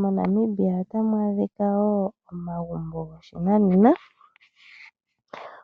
MoNamibia otamu adhika wo omagumbo goshinanena.